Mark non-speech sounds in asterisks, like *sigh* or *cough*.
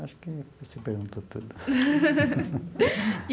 Acho que você perguntou tudo. *laughs*